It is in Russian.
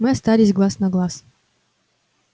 мы остались глаз на глаз